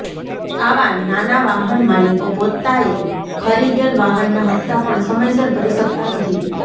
આવા નાના વાહન માલીકો પોતાએ ખરીદેલ વાહનના હપ્તા પણ સમયસર ભરી શકતા નથી